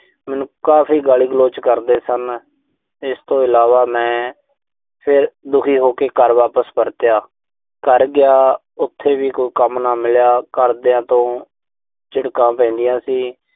ਮੈਨੂੰ ਕਾਫ਼ੀ ਗਾਲੀ-ਗਲੋਚ ਕਰਦੇ ਸਨ। ਇਸ ਤੋਂ ਇਲਾਵਾ ਮੈਂ ਫਿਰ ਦੁਖੀ ਹੋ ਕੇ ਘਰ ਵਾਪਸ ਪਰਤਿਆ। ਘਰ ਗਿਆ, ਉਥੇ ਵੀ ਕੋਈ ਕੰਮ ਨਾ ਮਿਲਿਆ। ਘਰਦਿਆਂ ਤੋਂ ਝਿੜਕਾਂ ਪੈਂਦੀਆਂ ਸੀ।